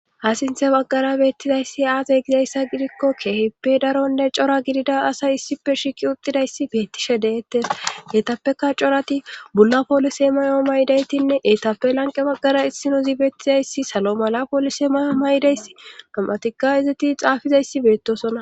ha sinthe baggara beettizayssi aate gizayssa gidikko keehippe daronne cora gidida asay issipe shiiqi utidayssi beettishe deettes eetappeka corati bulla poolise mayo maydaytinne eetappe lanqe baggara issino zi beettizayssi salo mala poolise mayo maydayssi tomatika izati xaafizayssi beettosona